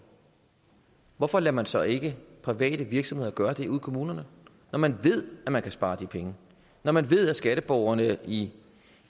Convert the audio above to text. hvorfor lader man så ikke private virksomheder gøre det ude i kommunerne når man ved at man kan spare de penge når man ved at skatteborgerne i